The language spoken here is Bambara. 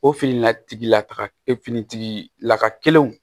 O fini la tigi lataga e fini tigi laka kelenw